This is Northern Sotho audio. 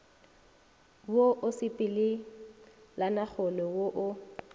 wo o sepelelanagole wo o